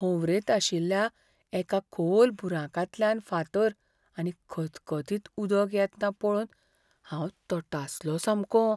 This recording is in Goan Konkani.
होंवरेंत आशिल्ल्या एका खोल बुराकांतल्यान फातर आनी खतखतीत उदक येतना पळोवन हांव तटासलों सामकों.